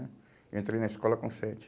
Eu entrei na escola com sete.